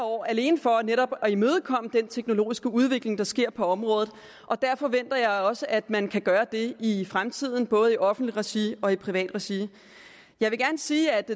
år alene for at imødekomme den teknologiske udvikling der sker på området og der forventer jeg også at man kan gøre det i fremtiden både i offentligt regi og i privat regi jeg vil gerne sige at